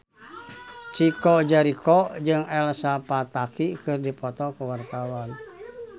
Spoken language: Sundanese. Chico Jericho jeung Elsa Pataky keur dipoto ku wartawan